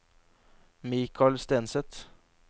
Mikal Stenseth